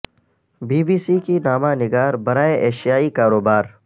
be B C کی نامہ نگار برائے ایشیائی کاروبار